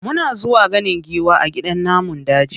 Muna zuwa ganin giwa a gidan namun daji.